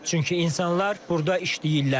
Çünki insanlar burda işləyirlər.